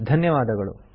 ಧನ್ಯವಾದಗಳು